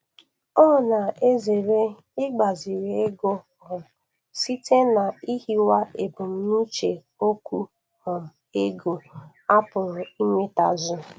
Ọ na-ezere igbaziri ego um site n'ihiwaebumnuche okwu um ego a pụrụ inwetazu.